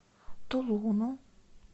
тулуну